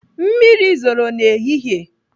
Mmiri zoro n'ehihie.